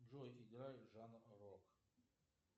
джой играй жанр рок